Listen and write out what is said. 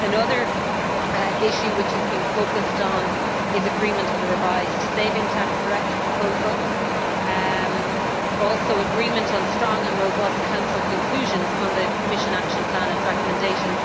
Another issue which is being focused on is agreement on the revised Savings Tax Directive proposal, as are agreement on strong and robust Council conclusions on the Commission Action Plan and recommendations